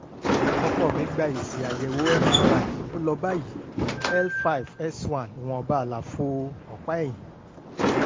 ọkọ mi gba èsì àyẹ̀wò mri ó lọ báyìí; L five S one ìwọ̀nba àlàfo ọ̀pá ẹ̀yìn